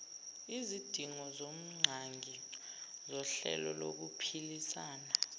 izidingongqangi zohlelo lokuphilisana